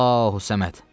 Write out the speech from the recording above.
Allahus-Səməd.